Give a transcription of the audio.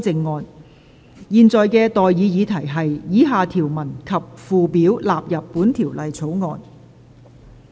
我現在向各位提出的待議議題是：以下條文及附表納入本條例草案。